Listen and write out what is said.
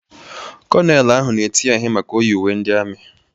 Konelu ahụ na-eti ya ihe maka o yi uwe ndị ami.